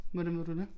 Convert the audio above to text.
Hvordan ved du det